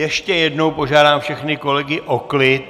Ještě jednou požádám všechny kolegy o klid.